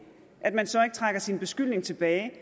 trækker sin beskyldning tilbage